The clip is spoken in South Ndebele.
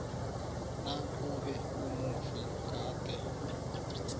nakube umufi gade